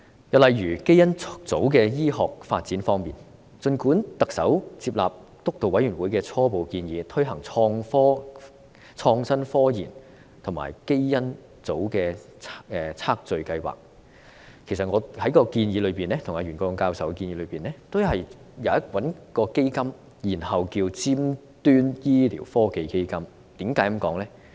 又例如基因重組的醫學發展方面，儘管特首接納督導委員會的初步建議，推行創新科研和基因組的測序計劃，其實在我與袁國勇教授的建議中主張設立一個基金，稱之為尖端醫療科技基金，原因為何？